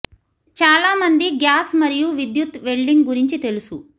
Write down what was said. చాలా మంది గ్యాస్ మరియు విద్యుత్ వెల్డింగ్ గురించి తెలుసు